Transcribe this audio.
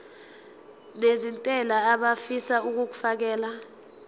nezentela abafisa uukfakela